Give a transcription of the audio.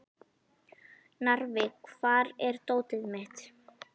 Narfi, hvar er dótið mitt?